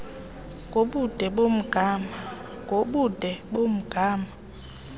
ngobude bomgama metered